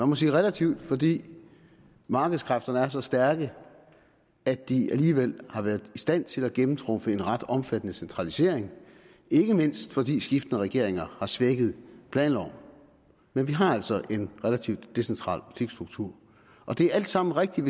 må sige relativt fordi markedskræfterne er så stærke at de alligevel har været i stand til at gennemtrumfe en ret omfattende centralisering ikke mindst fordi skiftende regeringer har svækket planloven men vi har altså en relativt decentral butiksstruktur og det alt sammen rigtigt